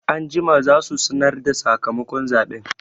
Anjima za su sanarda sakamakon zaɓen